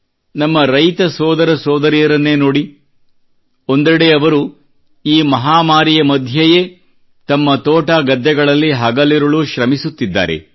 ನಮ್ಮ ರೈತ ಸೋದರ ಸೋದರಿಯರನ್ನೇ ನೋಡಿ ಒಂದೆಡೆ ಅವರು ಈ ಮಹಾಮರಿಯ ಮಧ್ಯೆಯೇ ತಮ್ಮ ತೋಟಗದ್ದೆಗಳಲ್ಲಿ ಹಗಲಿರುಳು ಶ್ರಮಿಸುತ್ತಿದ್ದಾರೆ